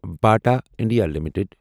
Bata India limited